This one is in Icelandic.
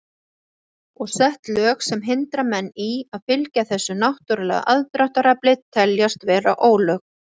Og sett lög sem hindra menn í að fylgja þessu náttúrulega aðdráttarafli teljast vera ólög.